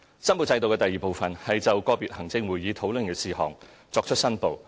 申報制度的第二部分是就個別行政會議討論的事項作出申報。